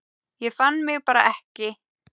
Ég fann mig bara ekki.